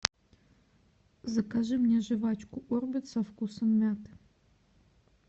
закажи мне жвачку орбит со вкусом мяты